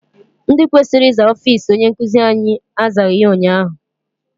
Ndị kwesịrị ịza ọfịịsi onye nkụzi anyị azaghị ya ụnyaahụ.